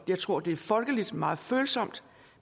jeg tror det er folkeligt meget følsomt